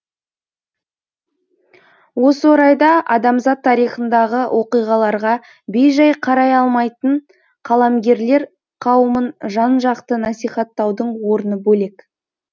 осы орайда адамзат тарихындағы оқиғаларға бей жай қарай алмайтын қаламгерлер қауымын жан жақты насихаттаудың орны бөлек